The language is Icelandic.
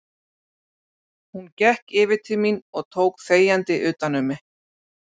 Hún gekk yfir til mín og tók þegjandi utan um mig.